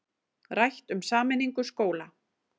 Rætt um sameiningu skóla